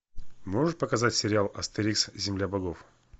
можешь показать сериал астерикс земля богов